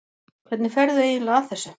Hvernig ferðu eiginlega að þessu?